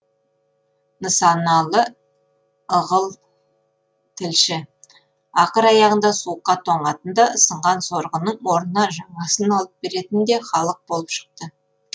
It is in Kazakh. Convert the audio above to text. нысаналы ығыл тілші ақыр аяғында суыққа тоңатын да сынған сорғының орнына жаңасын алып беретін де халық болып шықты